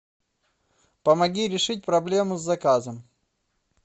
помоги решить проблему с заказом